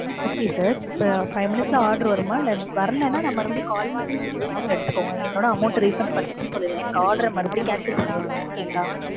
okay sir. இப்போ five minutes ல order வருமா இல்ல, வரலனா நா மறுபடியும் call பண்ணி உங்களுக்கு refund எடுத்துக்கோங்க. என்னோட amount refund பண்ணுங்கனு சொல்லிருவேன். என் order மறுபடியும் cancel பண்ணிரனும் okay ங்களா?